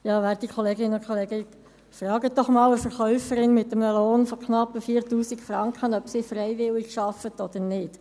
Fragen Sie doch einmal eine Verkäuferin mit einem Lohn von knapp 4000 Franken, ob sie freiwillig arbeitet oder nicht.